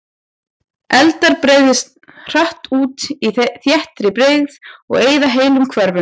Eldar breiðast hratt út í þéttri byggð og eyða heilum hverfum.